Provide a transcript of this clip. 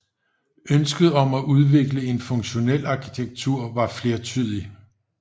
Ønsket om at udvikle en funktionel arkitektur var flertydig